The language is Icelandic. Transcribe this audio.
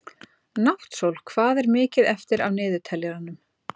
Náttsól, hvað er mikið eftir af niðurteljaranum?